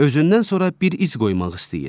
Özündən sonra bir iz qoymaq istəyir.